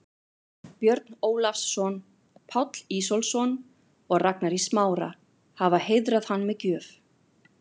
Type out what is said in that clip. Björn Ólafsson, Páll Ísólfsson og Ragnar í Smára, hafa heiðrað hann með gjöf.